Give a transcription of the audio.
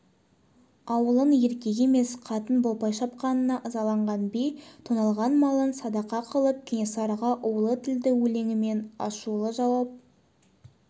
ауылын еркек емес қатын бопай шапқанына ызаланған би тоналған малын садақа қылып кенесарыға улы тілді өлеңмен ашулы жауап